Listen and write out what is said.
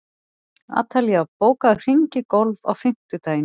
Atalía, bókaðu hring í golf á fimmtudaginn.